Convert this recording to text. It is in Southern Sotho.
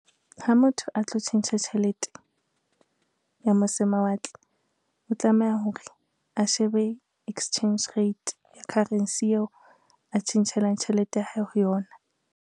Ha motho a tlo tjhentjha tjhelete, ya mose mawatle o tlameha hore a shebe exchange rate ya currency eo a tjhentjhelang tjhelete ya hae ho yona.